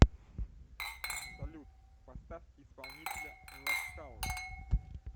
салют поставь исполнителя ласкала